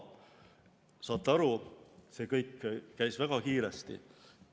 Saate aru, see kõik käis väga kiiresti.